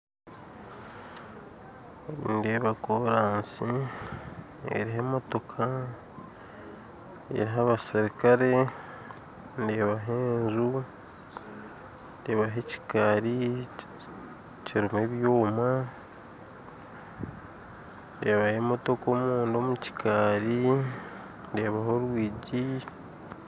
Nindeeba koraasi eriho emotoka, eriho abaserikare, ndeebaho enju, ndeebaho ekikaari kiriho ebyoma, ndeebaho emotoka omunda omu kikaari, ndeebaho orwigi